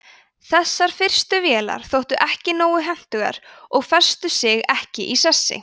þessar fyrstu vélar þóttu ekki nógu hentugar og festu sig ekki í sessi